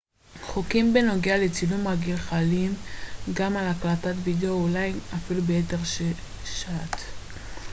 חוקים בנוגע לצילום רגיל חלים גם על הקלטת וידאו אולי אפילו ביתר שאת